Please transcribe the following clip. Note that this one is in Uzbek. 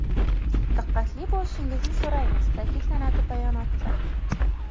Diqqatli bo‘lishingizni so‘raymiz”, ta’kidlanadi bayonotda.